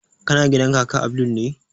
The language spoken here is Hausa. Kana gidan kaka abdul ne?